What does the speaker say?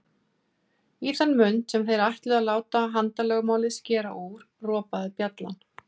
Í þann mund sem þeir ætluðu að láta handalögmálið skera úr, ropaði bjallan.